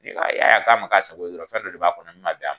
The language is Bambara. Ni ka, ni ya ye a ma k'a sako ye dɔrɔn, fɛn dɔ de b'a kɔnɔ min ma bɛn a ma.